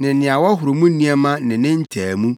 ne nea wɔhoro mu nneɛma ne ne ntaamu,